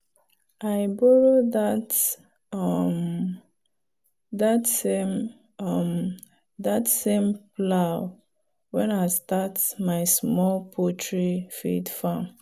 i borrow that um same um plow when i start my small poultry feed farm.